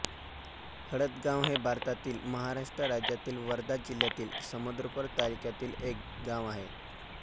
हळदगाव हे भारतातील महाराष्ट्र राज्यातील वर्धा जिल्ह्यातील समुद्रपूर तालुक्यातील एक गाव आहे